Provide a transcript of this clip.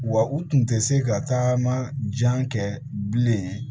Wa u tun tɛ se ka taama jan kɛ bilen